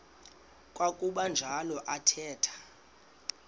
kwakuba njalo athetha